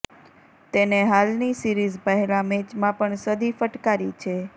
તેને હાલની સીરીઝ પહેલા મેચમાં પણ સદી ફટકારી છે